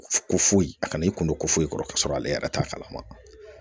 Ko foyi a kana i kun don ko foyi kɔrɔ k'a sɔrɔ ale yɛrɛ t'a kalama